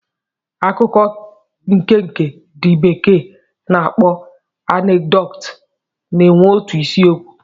Akụkọ nkenke ndị bekee na-akpọ anekdot na-enwe otu isiokwu.